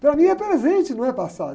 Para mim é presente, não é passado.